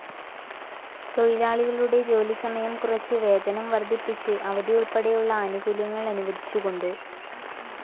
തൊഴിലാളികളുടെ ജോലി സമയം കുറച്ച്, വേതനം വർധിപ്പിച്ച്, അവധി ഉൾപ്പെടെയുള്ള ആനുകൂല്യങ്ങൾ അനുവദിച്ചുകൊണ്ട്.